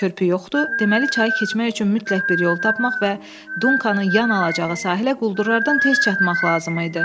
Körpü yoxdur, deməli çayı keçmək üçün mütləq bir yol tapmaq və Dunkanın yanına alacağı sahilə quldurlardan tez çatmaq lazım idi.